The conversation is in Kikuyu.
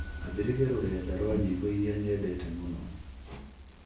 ambĩrĩria rũrenda rwa nyĩmbo iria nyendete mũno